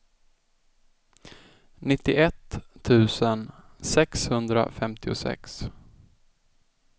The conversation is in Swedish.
nittioett tusen sexhundrafemtiosex